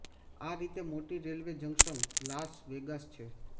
આ રીતે મોટી રેલવે જંકશન લાસ વેગાસ છે